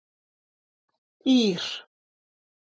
Ír